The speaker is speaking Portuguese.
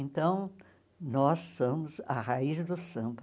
Então, nós somos a raiz do samba.